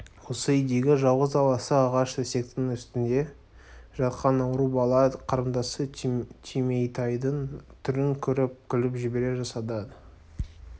осы үйдегі жалғыз аласа ағаш төсектің үстінде жатқан ауру бала қарындасы түйметайдың түрін көріп күліп жібере жаздады